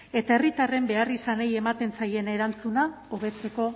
eta herritarren beharrizanei ematen zaien erantzuna hobetzeko